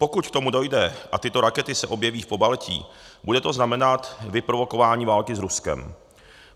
Pokud k tomu dojde a tyto rakety se objeví v Pobaltí, bude to znamenat vyprovokování války s Ruskem.